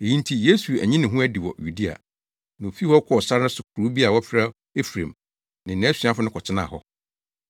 Eyi nti Yesu anyi ne ho adi wɔ Yudea, na ofii hɔ kɔɔ sare so kurow bi a wɔfrɛ no Efraim ne nʼasuafo no kɔtenaa hɔ.